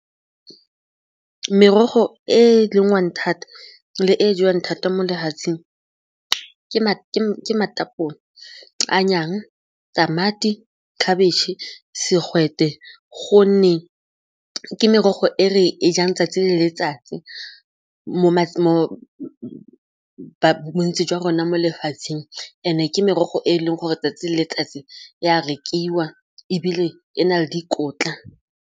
Merogo e e lengwang thata le e jewang thata mo lefatseng ke matapole tamati, khabetšhe, segwete gonne ke merogo e re e jang 'tsatsi le letsatsi bontsi jwa rona mo lefatsheng and-e ke merogo e e leng gore 'tsatsi le letsatsi e a rekiwa ebile e na le dikotla.